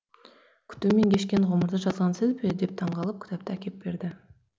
күтумен кешкен ғұмырды жазған сіз бе деп таңғалып кітапты әкеп берді